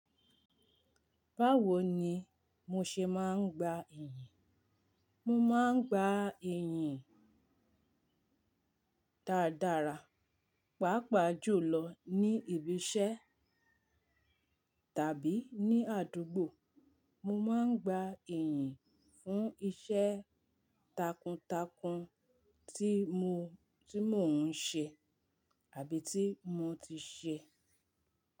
Báwo ni mo ṣe máa ń gba iyì Mo máa ń gba iyì dáadáa, pàápàá jùlọ ní ibi iṣẹ́ tàbí ní àdúgbò. Mo máa ń gba iyì fún iṣẹ́ takuntakun tí mò ń ṣe àbí tí mo ti ṣe.